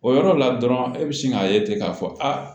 O yɔrɔ la dɔrɔn e bɛ sin k'a ye ten k'a fɔ a